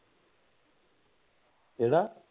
ਕਿਹੜਾ